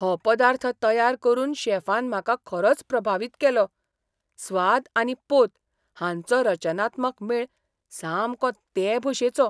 हो पदार्थ तयार करून शेफान म्हाका खरोच प्रभावीत केलो, स्वाद आनी पोत हांचो रचनात्मक मेळ सामको ते भशेचो.